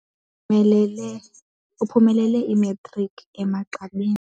Uphumelele imatriki emagqabini.